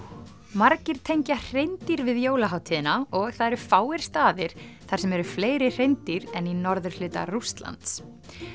margir tengja hreindýr við jólahátíðina og það eru fáir staðir þar sem eru fleiri hreindýr en í norðurhluta Rússlands